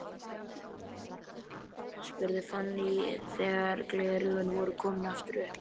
spurði Fanný þegar gleraugun voru aftur komin upp.